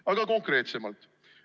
Aga konkreetsemalt.